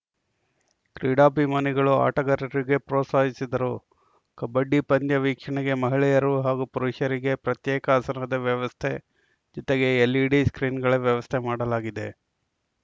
ಕ್ರೀಡಾಭಿಮಾನಿಗಳು ಆಟಗಾರರಿಗೆ ಪ್ರೋತ್ಸಾಹಿಸಿದರು ಕಬ್ಬಡಿ ಪಂದ್ಯ ವೀಕ್ಷಣೆಗೆ ಮಹಿಳೆಯರು ಹಾಗೂ ಪುರಷರಿಗೆ ಪ್ರತ್ಯೇಕ ಆಸನದ ವ್ಯವಸ್ಥೆ ಜೊತೆಗೆ ಎಲ್‌ಇಡಿ ಸ್ಕ್ರೀನ್‌ಗಳ ವ್ಯವಸ್ಥೆ ಮಾಡಲಾಗಿದೆ